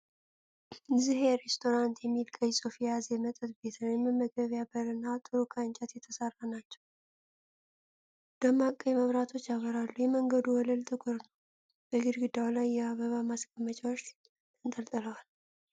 "ዝሄ ሬስቶራንት" የሚል ቀይ ጽሑፍ የያዘ የመጠጥ ቤት ነው። የመግቢያው በር እና አጥሩ ከእንጨት የተሠሩ ናቸው፣ ደማቅ ቀይ መብራቶች ያበራሉ። የመንገዱ ወለል ጥቁር ነው፣ በግድግዳው ላይ የአበባ ማስቀመጫዎች ተንጠልጥለዋል።